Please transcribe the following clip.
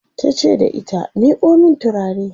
tace da ita " miƙo min turare!"